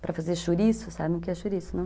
para fazer chouriço, sabe o que é chouriço, não?